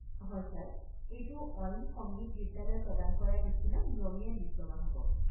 হয় ছাৰ, এইটো অইন সংগীত বিদ্যালয়ে প্ৰদান কৰাৰ নিচিনা নিয়মীয়া ডিপ্ল'মা হ'ব।